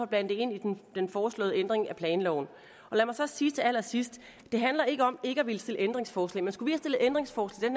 blandet ind i den foreslåede ændring af planloven lad mig så sige til allersidst det handler ikke om ikke at ville stille ændringsforslag men skulle stillet ændringsforslag